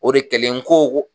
O de kɛlen ko ko